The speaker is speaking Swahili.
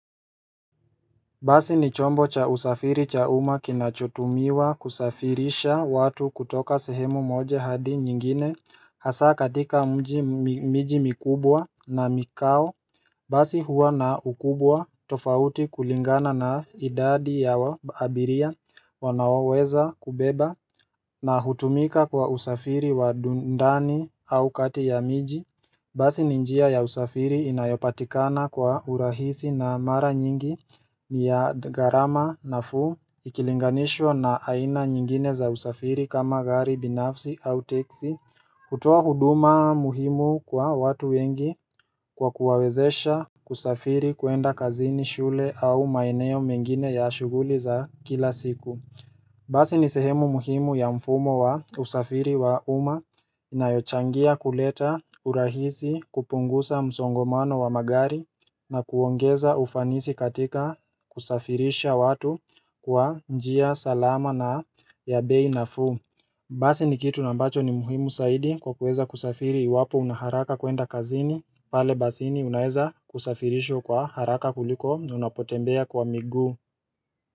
Basi ni chombo cha usafiri cha uma kinachotumiwa kusafirisha watu kutoka sehemu moja hadi nyingine Hasa katika mji miji mikubwa na mikao Basi huwa na ukubwa tofauti kulingana na idadi ya wa abiria wanaweza kubeba na hutumika kwa usafiri wa du ndani au kati ya miji Basi ni njia ya usafiri inayopatikana kwa urahisi na mara nyingi ni ya gharama nafuu ikilinganishwa na aina nyingine za usafiri kama gari binafsi au teksi kutoa huduma muhimu kwa watu wengi kwa kuwawezesha kusafiri kuenda kazini shule au maeneo mengine ya shughuli za kila siku Basi ni sehemu muhimu ya mfumo wa usafiri wa uma inayochangia kuleta urahisi kupungusa msongomano wa magari na kuongeza ufanisi katika kusafirisha watu kwa njia salama na ya bei nafuu Basi ni kitu ambacho ni muhimu saidi kwa kuweza kusafiri iwapo una haraka kuenda kazini pale basini unaeza kusafirishwa kwa haraka kuliko unapotembea kwa miguu.